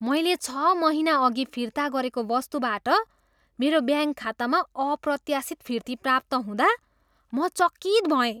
मैले छ महिनाअघि फिर्ता गरेको वस्तुबाट मेरो ब्याङ्क खातामा अप्रत्याशित फिर्ती प्राप्त हुँदा म चकित भएँ।